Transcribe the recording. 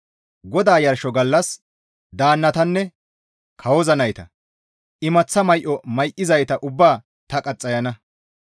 «GODAA yarsho gallas daannatanne kawoza nayta, imaththa may7o may7izayta ubbaa ta qaxxayana.